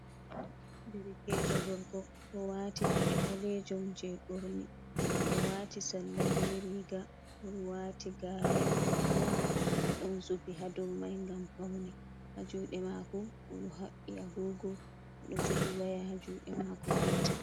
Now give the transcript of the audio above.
Derkejo gorgo ɗo wati paɗe ɓalejum je ɓorne, oɗo wati salla be riga odo wati gare, gare mai ɗon zubi ha dow mai ngam faune ha juɗe mako odo habbi agogo odo jogi waya ha juɗe mako gotel.